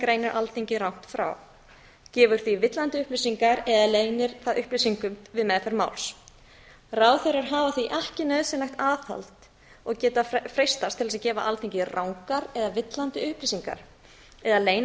greinir alþingi rangt frá gefur því villandi upplýsingar eða leynir það upplýsingum við meðferð máls ráðherrar hafa því ekki nauðsynlegt aðhald og geta freistast til að gefa alþingi rangar eða villandi upplýsingar eða leyna